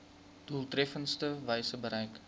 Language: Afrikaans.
doeltreffendste wyse bereik